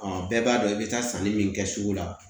bɛɛ b'a dɔn i bɛ taa sanni min kɛ sugu la